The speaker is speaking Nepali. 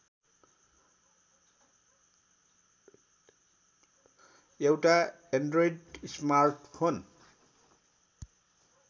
एउटा एन्ड्रोइड स्मार्टफोन